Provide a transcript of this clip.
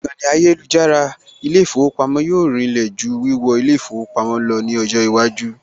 Ìkànnì ayélujára ilé ìfowópamọ́ yóò rinlẹ̀ jù wíwọ ilé ìfowópamọ́ lọ ní ọjọ́ iwájú